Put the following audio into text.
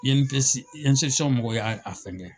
mɔgɔ y'a fɛnkɛ.